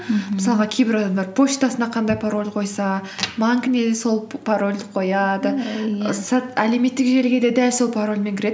мхм мысалға кейбір адамдар почтасына қандай пароль қойса банкіне да сол п парольді қояды иә әлеуметтік желіге де дәл сол парольмен кіреді